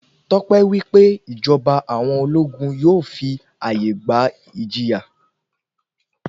Tọ́pẹ́ wí pé ìjọba àwọn ológun yóò fi àyè gba ìjìyà.